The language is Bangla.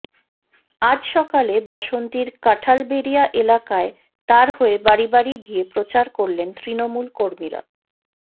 আজ সকালে বাসন্তীর কাঁঠালবেড়িয়া এলাকায় তাঁর হয়ে বাড়ি বাড়ি গিয়ে প্রচার করলেন তৃণমূল কর্মীরা